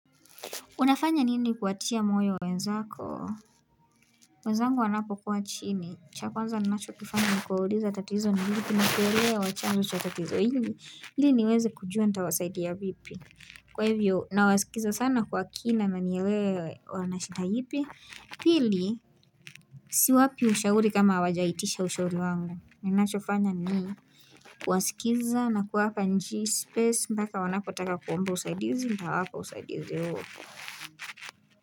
Unafanya nini kuwatia moyo wenzako? Wenzangu wanapo kuwa chini. Cha kwanza nina cho kifanya nikuwauliza tatizo ni nini na kuelewa chanzo cha tatizo ili. Ili niweze kujua nita wasaidia vipi. Kwa hivyo, na wasikiza sana kwa kina na nielewe wana shida ipi. Pili, si wapi ushauri kama hawajaitisha ushauri wangu. Ninacho fanya ni, kuwasikiza na kuwapa nji space mpaka wanapo taka kuomba usaidizi, nitawapa usaidizi huo.